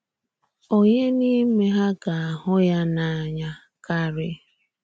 “Ònyé n’ime hà gà-ahụ́ ya n’ànya kárí?”